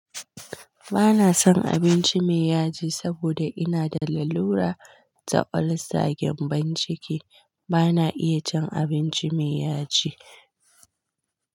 Ba na son abinci mai yaji saboda ina da lalura ta ulcer gembon ciki, ba na iya cin abinci mai yaji.